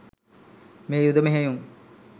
මේ යුධ මෙහෙයුම්